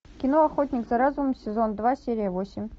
кино охотник за разумом сезон два серия восемь